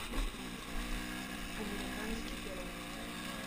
американский пирог